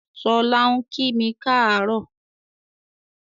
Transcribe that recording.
Ṣọlá ń kími káàárọ̀